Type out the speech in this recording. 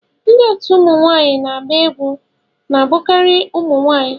Ndị otu ụmụ nwanyị na-agba egwu na-abụkarị ụmụ nwanyị